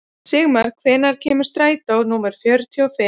Sigmar, hvenær kemur strætó númer fjörutíu og fimm?